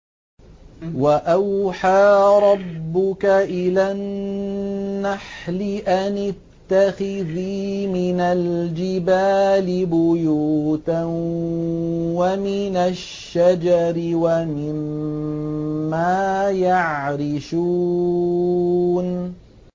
وَأَوْحَىٰ رَبُّكَ إِلَى النَّحْلِ أَنِ اتَّخِذِي مِنَ الْجِبَالِ بُيُوتًا وَمِنَ الشَّجَرِ وَمِمَّا يَعْرِشُونَ